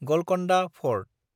Golconda fort